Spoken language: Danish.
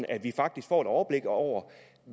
at vi faktisk får et overblik over